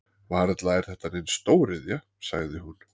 Varla er þetta nein stóriðja? sagði hún.